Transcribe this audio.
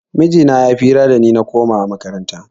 Mijina ya yi fira da ni na komawa makaranta